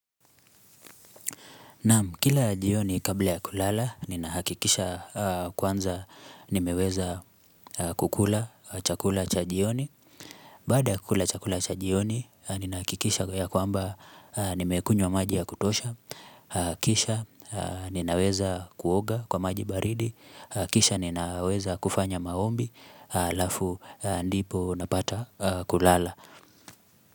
Naam, kila jioni kabla ya kulala, nina hakikisha kwanza nimeweza kukula chakula cha jioni. Baada yakukula chakula cha jioni, nina hakikisha ya kwamba nimekunywa maji ya kutosha. Kisha, ninaweza kuoga kwa maji baridi. Kisha, ninaweza kufanya maombi alafu ndipo napata kulala.